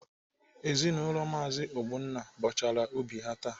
Ezinaụlọ Maazi Ogbonna bọchara ubi ha taa.